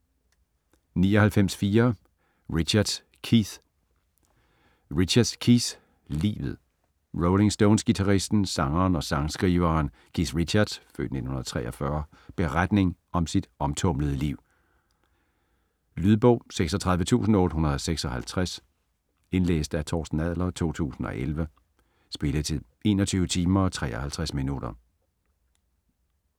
99.4 Richards, Keith Richards, Keith: Livet Rolling Stones-guitaristen, sangeren og sangskriveren Keith Richards' (f. 1943) beretning om sit omtumlede liv. Lydbog 36856 Indlæst af Torsten Adler, 2011. Spilletid: 21 timer, 53 minutter.